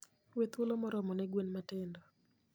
We thuolo moromo ne gwen matindo.